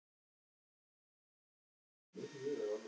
Í súpu kraftur settur er.